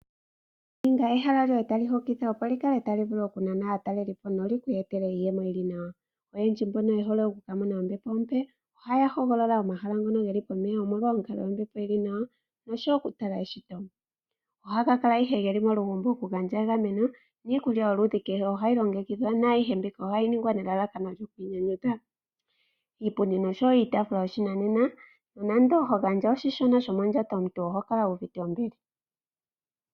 Ninga ehala lyoye tali hokitha, opo li kale tali vulu okunana aatalelipo, lyo li ku etele iiyemo yi li nawa. Oyendji mboka ye hole oku ka mona ombepo ompe, ohaya hogolola omahala ngono ge li pomeya, omolwa onkaloyombepo yi li nawa ya shiwe okutala eshito. Ohaga kala ihe ge li molugumbo ga shiwe okugandja egameno niikulya yoludhi kehe ohayi longekidhwa naayihe mbika ohayi ningwa nelalakano lyo ku inyanyudha. Iipundi nosho wo iitaafula yoshinanena, nonando ho gandja oshishona shomondjato omuntu oho kala wu uvite ombili.